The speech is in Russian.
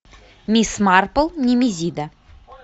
мисс марпл немезида